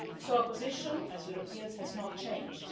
Our position as Europeans has not changed.